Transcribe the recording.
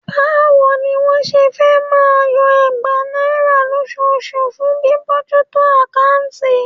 Báwo ni wọ́n ṣe fẹ́ máa yọ ẹgbàá náírà lóṣooṣù fún bíbójútó àkáùntì?